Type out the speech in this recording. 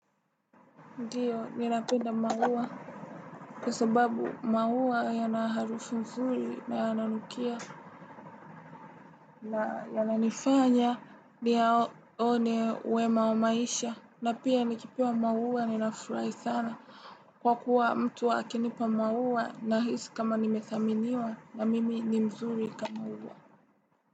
Ndiyo, ninapenda maua. Kwa sababu, maua yana harufu mzuri na yananukia. Na yananifanya, niyaone wema wa maisha. Na pia nikipewa maua, ninafurahi sana. Kwa kuwa mtu akinipa maua nahisi kama nimethaminiwa, na mimi ni mzuri kama ua.